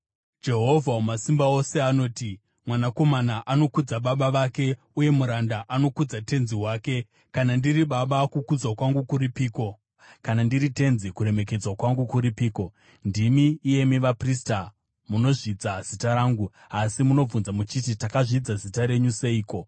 Jehovha Wamasimba Ose anoti, “Mwanakomana anokudza baba vake, uye muranda anokudza tenzi wake. Kana ndiri baba, kukudzwa kwangu kuripiko? Kana ndiri tenzi, kuremekedzwa kwangu kuripiko? Ndimi, iyemi vaprista, munozvidza zita rangu. “Asi munobvunza muchiti, ‘Takazvidza zita renyu seiko?’ ”